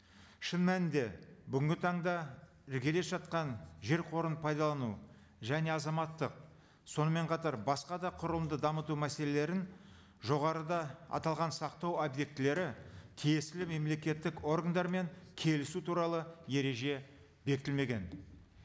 шын мәнінде бүгінгі таңда іргелес жатқан жер қорын пайдалану және азаматтық сонымен қатар басқа да құрылымды дамыту мәселелерін жоғарыда аталған сақтау объектілері тиесілі мемлекеттік органдармен келісу туралы ереже бекітілмеген